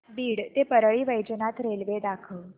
बीड ते परळी वैजनाथ रेल्वे दाखव